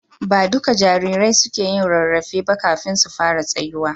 Ba duka jarirai suke yin rarrafe ba kafin su fara tsayuwa.